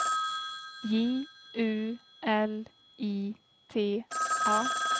J U L I T A